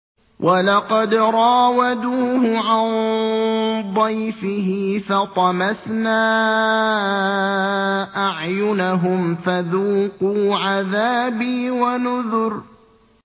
وَلَقَدْ رَاوَدُوهُ عَن ضَيْفِهِ فَطَمَسْنَا أَعْيُنَهُمْ فَذُوقُوا عَذَابِي وَنُذُرِ